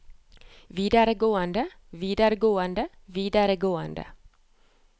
videregående videregående videregående